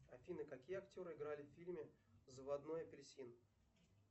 афина какие актеры играют в фильме заводной апельсин